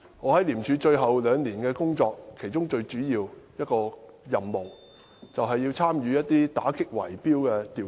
我在廉署最後兩年的工作，其中一項最主要的任務是參與打擊圍標的調查。